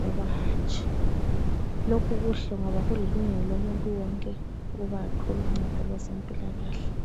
loba hatshi. Lokhu kuhle ngoba kulilungelo lomuntu wonke ukuthi athole uncedo lwezempilakhle.